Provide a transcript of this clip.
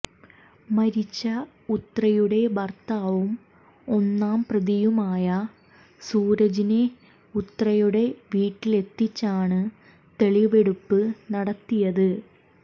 മരിച്ച ഉത്രയുടെ ഭര്ത്താവും ഒന്നാംപ്രതിയുമായ സൂരജിനെ ഉത്രയുടെ വീട്ടിലെത്തിച്ചാണ് തെളിവെടുപ്പ് നടത്തിയത്